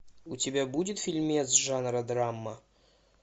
у тебя будет фильмец жанра драма